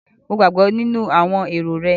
Mo gbàgbọ́ nínú àwọn èrò rẹ̀